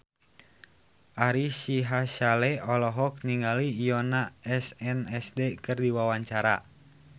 Ari Sihasale olohok ningali Yoona SNSD keur diwawancara